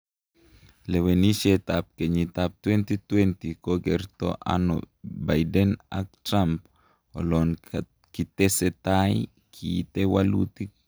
Lwenisiet ab kenyit ab 2020; kokerto ano Biden ak Trump olon kitesetai kiite walutik